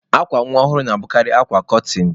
Akwa nwa ọhụrụ na-abụkarị akwa kọtịn.